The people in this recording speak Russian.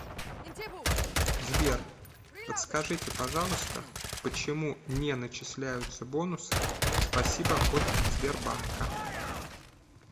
сбер подскажите пожалуйста почему не начисляются бонусы спасибо от сбербанка